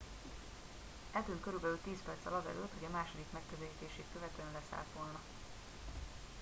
eltűnt körülbelül tíz perccel azelőtt hogy a második megközelítését követően leszállt volna